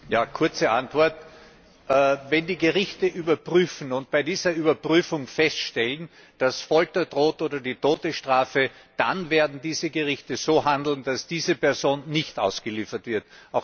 Ja, kurze Antwort Wenn die Gerichte überprüfen und bei dieser Überprüfung feststellen, dass Folter oder Todesstrafe drohen, dann werden diese Gerichte so handeln, dass diese Person nicht ausgeliefert wird.